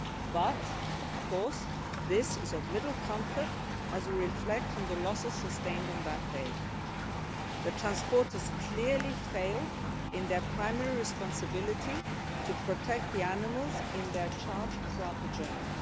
but, of course, this is of little comfort as we reflect on the losses sustained on that day. The transporters clearly failed in their primary responsibility to protect the animals in their charge throughout the journey.